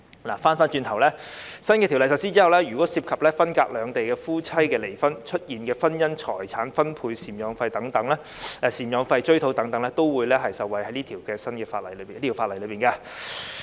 話說回來，在新法例實施後，涉及分隔兩地的夫妻因離婚而衍生的婚姻財產分割糾紛或贍養費追討等個案，都會受惠於這項法例。